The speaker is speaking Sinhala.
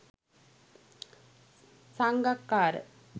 sangakkara